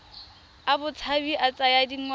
a botshabi a tsaya dingwaga